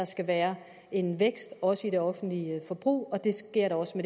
skal være en vækst også i det offentlige forbrug og det sker også